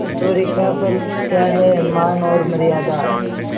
ऐश्वर्य का फल क्या हैमान और मर्यादा